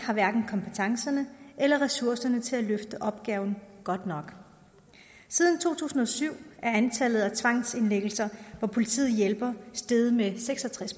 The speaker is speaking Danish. hverken har kompetencerne eller ressourcerne til at løfte opgaven godt nok siden to tusind og syv er antallet af tvangsindlæggelser hvor politiet hjælper steget med seks og tres